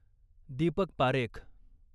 Deepak Parekh